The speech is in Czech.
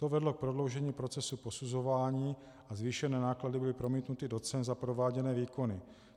To vedlo k prodloužení procesu posuzování a zvýšené náklady byly promítnuty do cen za prováděné výkony.